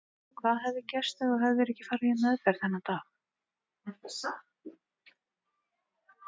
Hvað hefði gerst ef þú hefðir ekki farið í meðferð þennan dag?